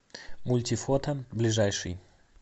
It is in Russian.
мультифото ближайший